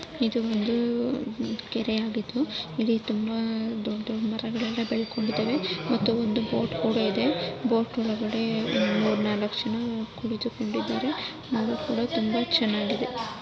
ಇದು ಒಂದು ಕೆರೆ ಆಗಿದ್ದು ಇಲ್ಲಿ ತುಂಬಾ ದೊಡ್ಡ ದೊಡ್ಡ ಮರಗಳು ಬೆಳ್ಕೊಂಡಿದಾವೆ ಮತ್ತು ಒಂದು ಬೋಟ್ ಕೂಡ ಇದೆ ಬೋಟ್ ಒಳಗಡೆ ಮೂರ್ ನಾಲ್ಕ್ ಜನ ಕುಳಿತುಕೊಂಡಿದ್ದಾರೆ ಅದು ಕೂಡ ತುಂಬಾ ಚೆನ್ನಾಗಿದೆ